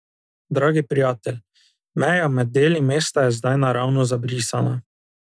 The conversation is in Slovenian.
Dragi prijatelj, meja med deli mesta je zdaj naravno zabrisana.